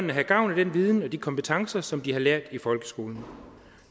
de have gavn af den viden og de kompetencer som de har lært i folkeskolen